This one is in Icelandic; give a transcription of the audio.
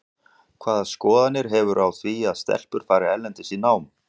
Hvaða skoðanir hefurðu á því að stelpur fari erlendis í nám?